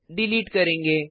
delete करेंगे